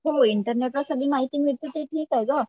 हो इंटरनेटवर सगळी माहिती मिळते ते ठीक आहे गं